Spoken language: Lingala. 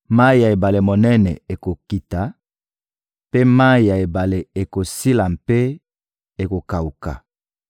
Mayi ya ebale monene ekokita, mpe mayi ya ebale ekosila mpe ekokawuka.